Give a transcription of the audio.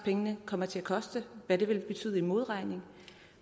kommer til at koste hvad det vil betyde i modregning